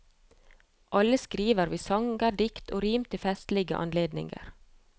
Alle skriver vi sanger, dikt og rim til festlige anledninger.